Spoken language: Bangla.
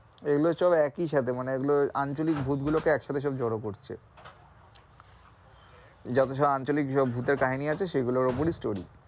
এগুলো সব একই সাথে মানে এগুলো আঞ্চলিক ভূতগুলো কে একই সাথে জড়ো করেছে যতসব আঞ্চলিক ভূতের কাহিনি আছে সে গুলোর উপরেই story